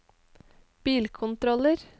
bilkontroller